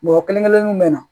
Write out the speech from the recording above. Mɔgɔ kelen kelennu bɛ na